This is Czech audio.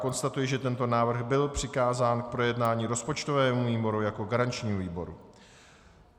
Konstatuji, že tento návrh byl přikázán k projednání rozpočtovému výboru jako garančnímu výboru.